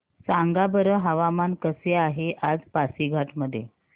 सांगा बरं हवामान कसे आहे आज पासीघाट मध्ये